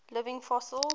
living fossils